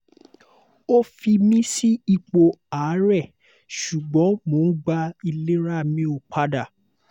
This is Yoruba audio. o fi mi si ipo aarẹ ṣugbọn mo n gba ilerami opada